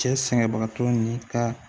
Cɛ sɛgɛnbagatɔw ni ka